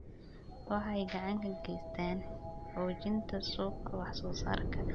Waxay gacan ka geystaan ??xoojinta suuqa wax soo saarka.